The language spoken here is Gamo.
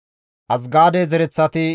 Gaabere zereththati 95,